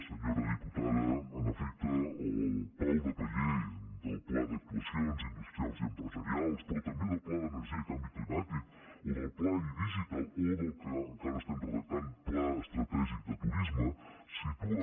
senyora diputada en efecte el pal de paller del pla d’actuacions industrials i empresarials però també del pla d’energia i canvi climàtic o del pla e digital o del que encara estem redactant pla estratègic de turisme situen